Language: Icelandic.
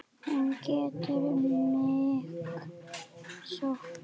Hún getur mig sótt.